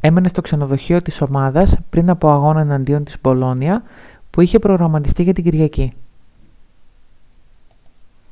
έμενε στο ξενοδοχείο της ομάδας πριν από αγώνα εναντίον της μπολόνια που είχε προγραμματιστεί για την κυριακή